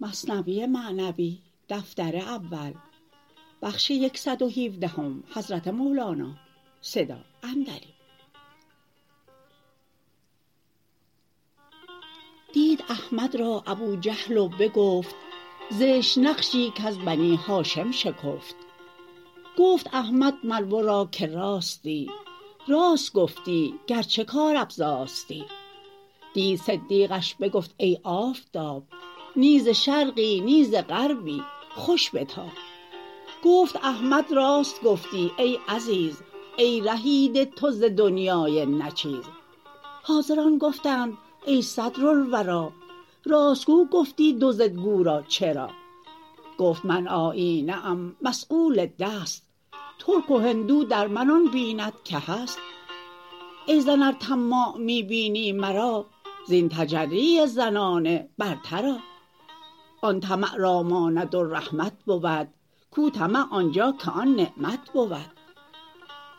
دید احمد را ابوجهل و بگفت زشت نقشی کز بنی هاشم شکفت گفت احمد مر ورا که راستی راست گفتی گرچه کار افزاستی دید صدیقش بگفت ای آفتاب نی ز شرقی نی ز غربی خوش بتاب گفت احمد راست گفتی ای عزیز ای رهیده تو ز دنیای نه چیز حاضران گفتند ای صدر الوری راست گو گفتی دو ضدگو را چرا گفت من آیینه ام مصقول دست ترک و هندو در من آن بیند که هست ای زن ار طماع می بینی مرا زین تحری زنانه برتر آ آن طمع را ماند و رحمت بود کو طمع آنجا که آن نعمت بود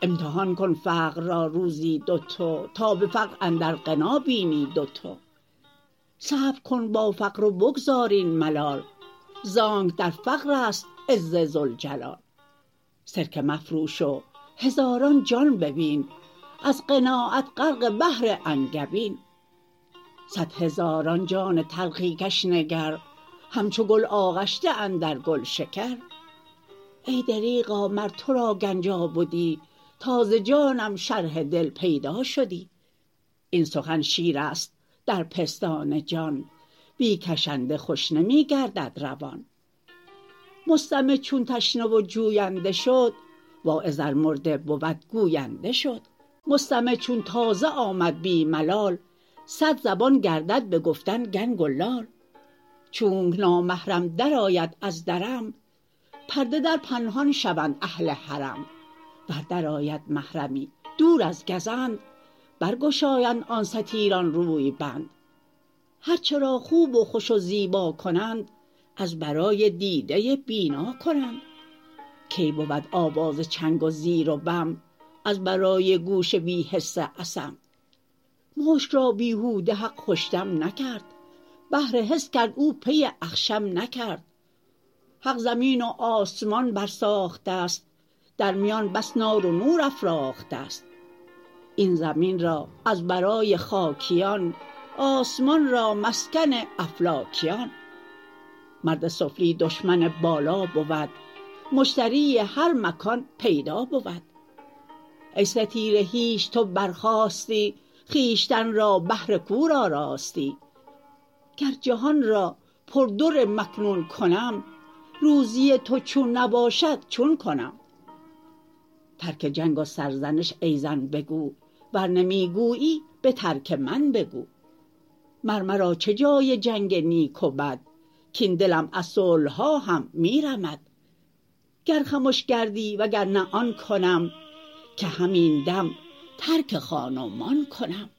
امتحان کن فقر را روزی دو تو تا به فقر اندر غنا بینی دوتو صبر کن با فقر و بگذار این ملال زانک در فقرست عز ذوالجلال سرکه مفروش و هزاران جان ببین از قناعت غرق بحر انگبین صد هزاران جان تلخی کش نگر همچو گل آغشته اندر گلشکر ای دریغا مر ترا گنجا بدی تا ز جانم شرح دل پیدا شدی این سخن شیرست در پستان جان بی کشنده خوش نمی گردد روان مستمع چون تشنه و جوینده شد واعظ ار مرده بود گوینده شد مستمع چون تازه آمد بی ملال صدزبان گردد به گفتن گنگ و لال چونک نامحرم در آید از درم پرده در پنهان شوند اهل حرم ور در آید محرمی دور از گزند برگشایند آن ستیران روی بند هرچه را خوب و خوش و زیبا کنند از برای دیده بینا کنند کی بود آواز چنگ و زیر و بم از برای گوش بی حس اصم مشک را بیهوده حق خوش دم نکرد بهر حس کرد و پی اخشم نکرد حق زمین و آسمان بر ساخته ست در میان بس نار و نور افراخته ست این زمین را از برای خاکیان آسمان را مسکن افلاکیان مرد سفلی دشمن بالا بود مشتری هر مکان پیدا بود ای ستیره هیچ تو بر خاستی خویشتن را بهر کور آراستی گر جهان را پر در مکنون کنم روزی تو چون نباشد چون کنم ترک جنگ و ره زنی ای زن بگو ور نمی گویی به ترک من بگو مر مرا چه جای جنگ نیک و بد کین دلم از صلحها هم می رمد گر خمش گردی و گر نه آن کنم که همین دم ترک خان و مان کنم